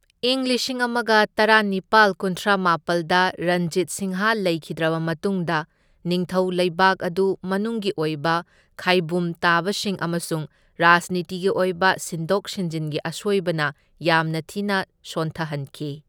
ꯏꯪ ꯂꯤꯁꯤꯡ ꯑꯃꯒ ꯇꯔꯥꯅꯤꯄꯥꯜ ꯀꯨꯟꯊ꯭ꯔꯥꯃꯥꯄꯜꯗ ꯔꯟꯖꯤꯠ ꯁꯤꯡꯍ ꯂꯩꯈꯤꯗ꯭ꯔꯕ ꯃꯇꯨꯡꯗ, ꯅꯤꯡꯊꯧ ꯂꯩꯕꯥꯛ ꯑꯗꯨ ꯃꯅꯨꯡꯒꯤ ꯑꯣꯏꯕ ꯈꯥꯢꯕꯨꯝ ꯇꯥꯕꯁꯤꯡ ꯑꯃꯁꯨꯡ ꯔꯥꯖꯅꯤꯇꯤꯒꯤ ꯑꯣꯏꯕ ꯁꯤꯟꯗꯣꯛ ꯁꯤꯟꯖꯤꯟꯒꯤ ꯑꯁꯣꯏꯕꯅ ꯌꯥꯝꯅ ꯊꯤꯅ ꯁꯣꯟꯊꯍꯟꯈꯤ꯫